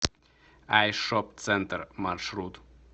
айшоп центр маршрут